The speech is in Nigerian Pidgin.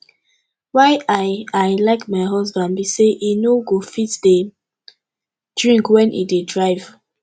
why i i like my husband be say he no go fit dey drink wen he dey drive